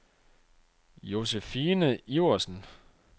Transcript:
Josephine Iversen